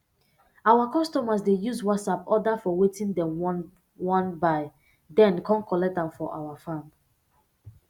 our customers dey use whatsapp order for wetin dem wan wan buy den come collect am for our farm